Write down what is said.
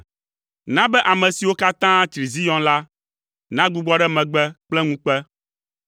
Na be ame siwo katã tsri Zion la, nagbugbɔ ɖe megbe kple ŋukpe.